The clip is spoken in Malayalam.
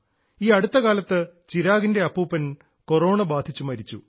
ഈ അടുത്തകാലത്ത് ചിരാഗിൻറെ അപ്പൂപ്പൻ കൊറോണ ബാധിച്ച് മരിച്ചു